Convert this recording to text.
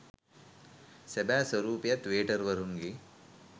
සැබෑ ස්වරූපයත් වේටර්වරුන්ගේ